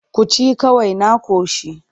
Ku ci kawai na ƙoshi.